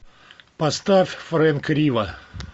поставь фрэнк рива